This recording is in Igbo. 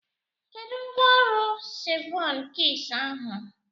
Kedụ mgbọrọgwụ sevụn kiis ahụ?